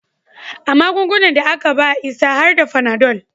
A magungunan da aka ba Isa har da Fanadol